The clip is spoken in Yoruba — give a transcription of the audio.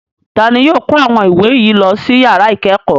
Ta ni yóò kó àwọn ìwé yìí lọ sí ìyàrá ìkẹ́kọ̀ọ́?